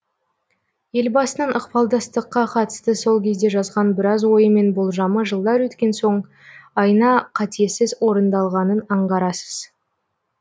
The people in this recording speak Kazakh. елбасының ықпалдастыққа қатысты сол кезде жазған біраз ойы мен болжамы жылдар өткен соң айна қатесіз орындалғанын аңғарасыз